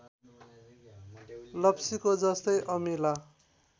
लप्सीको जस्तै अमिला